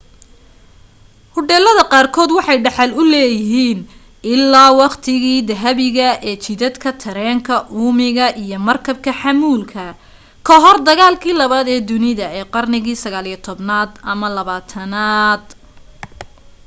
hodheelada qaar kood waxay dhaxal u leyihiin ilaa waqtigii dahabiga ee jidadka tareenka uumiga iyo markabka xamuulka kahor dagaalkii labaad ee dunida ee qarnigii 19aad ama 20aad